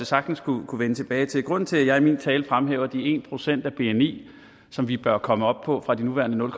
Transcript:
sagtens kunne vende tilbage til grunden til at jeg i min tale fremhæver de en procent af bni som vi bør komme op på fra de nuværende nul